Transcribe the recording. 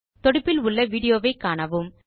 தொடுப்பில் விடியோவை காணவும்